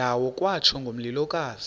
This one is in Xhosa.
ndawo kwatsho ngomlilokazi